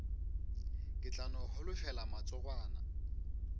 ke tla no holofela matsogwana